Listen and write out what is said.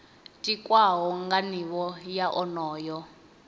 tikwaho nga nivho ya onoyo